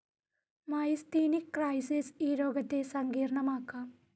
Myasthenic crisis ഈ രോഗത്തെ സങ്കീർണമാക്കാം.